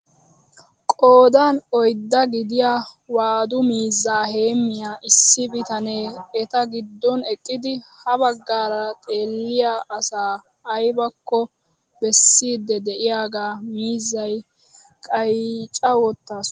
Qoodan oyddaa gidiyaa waadu miizzaa heemmiyaa issi bitanee eta giddon eqqidi ha baggaara xeelliyaa asaa aybakko bessiidi de'iyaaga miizziyaa qayccaa woottasu!